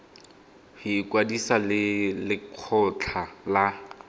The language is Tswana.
go ikwadisa le lekgotlha la